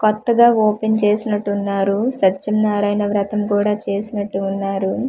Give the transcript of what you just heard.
కొత్తగా ఓపెన్ చేసినట్టున్నారు సత్యనారాయణ వ్రతం కూడా చేసినట్టు ఉన్నారు.